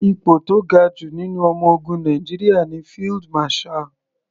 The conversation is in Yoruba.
Ipò tó ga jù nínú ọmọ ogun Nàìjíríà ní Field Marshall.